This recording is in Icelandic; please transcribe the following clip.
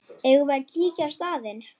Eigum við að kíkja á staðinn?